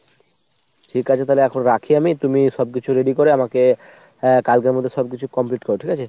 ঠিক আছে তালে এখন রাখি আমি। তুমি সব কিছু ready করে আমাকে হ্যাঁ কালকের মধ্যে সব কিছু complete করো ঠিক আছে ?